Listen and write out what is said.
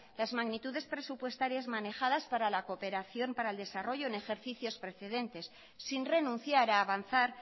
las magnitudes presupuestarias manejadas para la cooperación para el desarrollo en ejercicios precedentes sin renunciar a avanzar